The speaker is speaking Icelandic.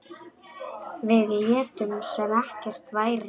Við létum sem ekkert væri.